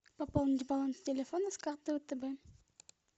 пополнить баланс телефона с карты втб